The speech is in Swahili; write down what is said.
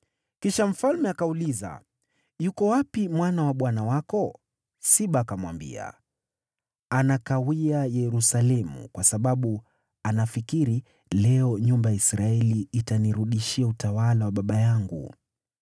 Kisha mfalme akauliza, “Yuko wapi mwana wa bwana wako?” Siba akamwambia, “Anakawia Yerusalemu, kwa sababu anafikiri, ‘Leo nyumba ya Israeli itanirudishia utawala wa baba yangu.’ ”